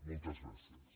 moltes gràcies